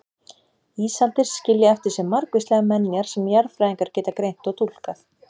Ísaldir skilja eftir sig margvíslegar menjar sem jarðfræðingar geta greint og túlkað.